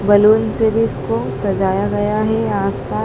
Balloon से भी इसको सजाया गया हैं आस पास।